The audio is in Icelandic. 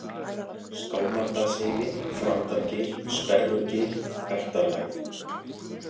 Skálmardalsheiði, Þrándargil, Sperrugil, Galtarlægð